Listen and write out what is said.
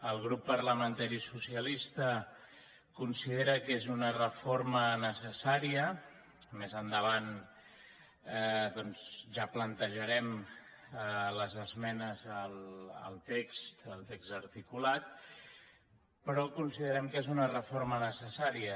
el grup parlamentari socialista considera que és una reforma necessària més endavant ja plantejarem les esmenes al text articulat però considerem que és una reforma necessària